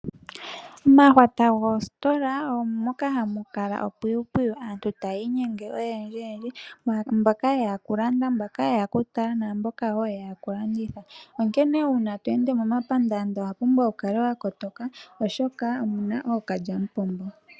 Omahwata go sitola omoka hamukala opwipwiyu aantu tayi nyenge oyendji yendji mboka yeya okulanda ,mboka yeya okutala namboka yeya okulanditha onkene uuna twende momapandanda owuna okukala wakotoka oshoka omuna okalya mupombo.